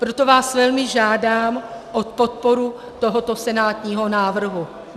Proto vás velmi žádám o podporu tohoto senátního návrhu.